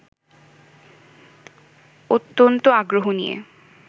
অত্যন্ত আগ্রহ নিয়ে